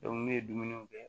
ne ye dumuni kɛ